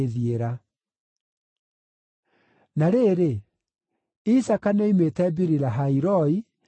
Na rĩrĩ, Isaaka nĩoimĩte Biri-Lahai-Roi, nĩ ũndũ aatũũraga Negevu.